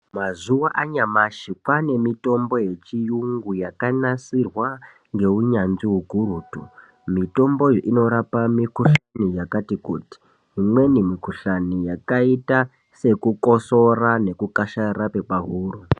Mazuva anyamashi kwane mitombo yechirungu yakanaSirwa nehunyanzvi ukurutu mitomboyo inorapa mikuhlani yakati kuti imweni mikuhlani yakaita sekukosora nekukashara kwepahuro.